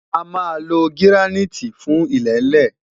a má ló giraniti fún ilele